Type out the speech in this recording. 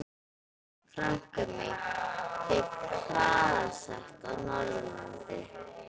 Frænka mín fékk hraðasekt á Norðurlandi.